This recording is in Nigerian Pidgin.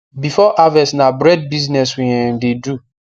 before harvest na bread business we um de do